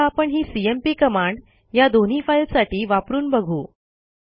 आता आपण ही सीएमपी कमांड या दोन्ही फाईलसाठी वापरून बघू